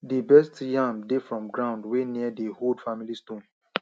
di best yam dey from ground wey near di old family stone